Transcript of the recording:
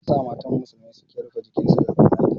Me yasa matan musulmi suke rufe jikinsu da mayafi?